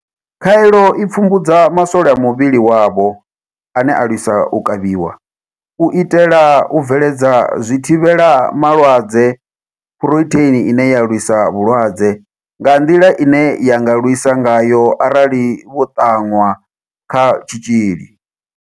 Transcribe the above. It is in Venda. Khaelo i pfumbudza maswole a muvhili wavho ane a lwisa u kavhiwa, u itela u bveledza zwithivhela malwadze Phurotheini ine ya lwisa vhulwadze nga nḓila ine ya nga lwisa ngayo arali vho ṱanwa kha tshitzhili.